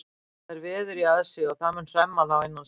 Það er veður í aðsigi og það mun hremma þá innan skamms.